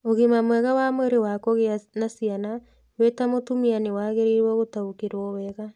Ũgima mwega wa mwĩrĩ wa kũgĩa na ciana, we ta mũtumia nĩ wagĩrĩirũo gũtaũkĩrũo wega.